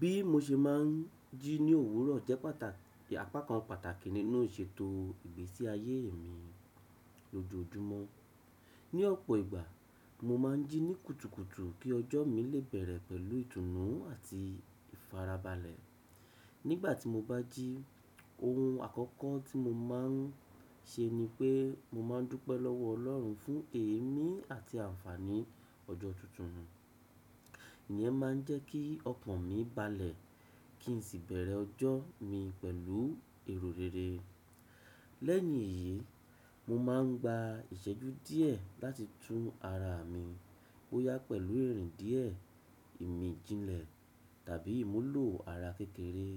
Bí mo ṣe máa ń jí ní òwúrọ̀ jẹ́ pàtàkì, àpá kan pàtàkì nínú ìṣètò ìgbésí ayé mi lójoojúmọ́. Ni ọ̀pọ̀ ìgbà, mo máa ń jí ní kùtùkùtù kí ọjọ́ mi lè bẹ̀rẹ̀ pẹ̀lú ìtùnú àti ìfarabalẹ̀. Nígbà tí mo bá jí, ohun àkọ́kọ́ tí mo máa ń ṣe ni pé mo máa ń dúpẹ́ lọ́wọ́ Ọlọ́run fún èémí àti àǹfàní ọjọ́ tuntun. Èyí máa ń jẹ́ kí ọ̀kan mi balẹ̀ kí n sì bẹ̀rẹ̀ ọjọ́ mi pẹ̀lú èrò rere. Lẹ́ẹ̀yin eyìí, mo máa ń gba ìṣẹ́jú díẹ̀ láti tún ara mi bó yá pẹ̀lú ẹ̀rìndíẹ̀, ìmìjìnlẹ̀ tàbí ìmúlò ara kékeré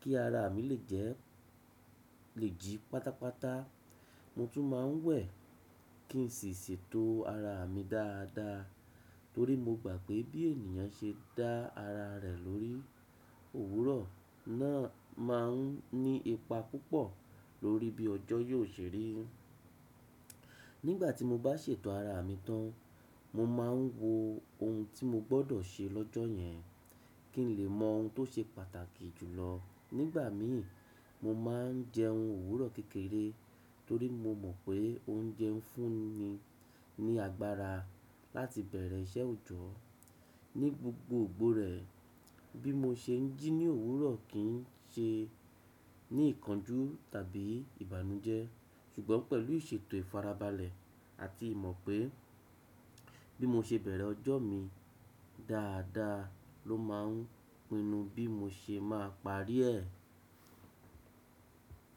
kí ara mi lè jí pátápátá. Mo tún máa ń wẹ̀ kí n sì ṣètò ara mi dáadáa torí mo gbà pé bí ènìyàn ṣe dá ara rẹ̀ lórí òwúrọ̀ náà máa ń ní ipa púpọ̀ lórí bí ọjọ́ yóò ṣe rí. Nígbà tí mo bá ṣètò ara mi tán, mo máa ń wo ohun tí mo gbọ́dọ̀ ṣe lọ́jọ́ yẹn kí n lè mọ ohun tó ṣe pàtàkì jù lọ. Nígbà mi, mo máa ń jẹ ohun òwúrọ̀ kékeré torí mo mọ̀ pé oúnjẹ ń fún mi ní agbára láti bẹ̀rẹ̀ iṣẹ́ òjọ́. Ni gbogbo gbòòrè, bí mo ṣe ń jí ní òwúrọ̀ kì í ṣe ní ìkánjú tàbí ìbànújẹ́ ṣùgbọ́n pẹ̀lú ìṣètò ìfarabalẹ̀ àti ìmọ̀ pé bí mo ṣe bẹ̀rẹ̀ ọjọ́ mi dáadáa ló máa ń pinnu bí mo ṣe máa parí ẹ.